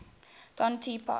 don t pass